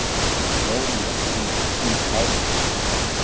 Hló léttum og dillandi hlátri.